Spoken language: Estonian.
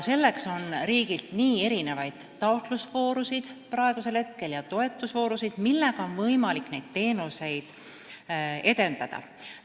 Selleks on riik praegu kuulutanud välja taotlusvoorusid ja toetusvoorusid, et oleks võimalik neid teenuseid edendada.